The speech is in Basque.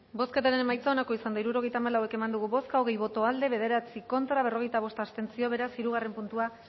bozketaren emaitza onako izan da hirurogeita hamalau eman dugu bozka hogei boto aldekoa bederatzi contra berrogeita bost abstentzio beraz hirugarren puntua